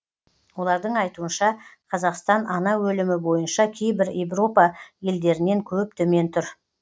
олардың айтуынша қазақстан ана өлімі бойынша кейбір европа елдерінен көп төмен тұр